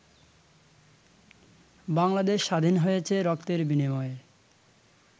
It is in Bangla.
বাংলাদেশ স্বাধীন হয়েছে রক্তের বিনিময়ে।